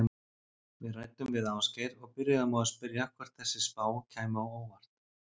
Við ræddum við Ásgeir og byrjuðum á að spyrja hvort þessi spá kæmi á óvart?